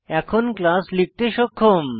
এখন ক্লাস লিখতে সক্ষম